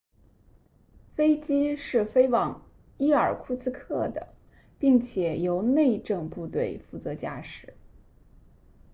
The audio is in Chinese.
飞机是飞往伊尔库茨克 irkutsk 的并且由内政部队负责驾驶